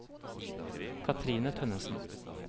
Kathrine Tønnesen